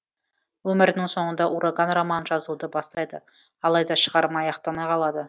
өмірінің соңында ураган романын жазуды бастайды алайда шығарма аяқталмай қалады